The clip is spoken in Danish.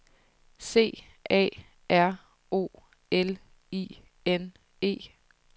C A R O L I N E